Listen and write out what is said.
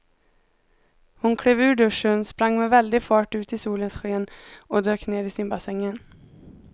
Hon klev ur duschen, sprang med väldig fart ut i solens sken och dök ner i simbassängen.